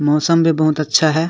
मौसम भी बहुत अच्छा है।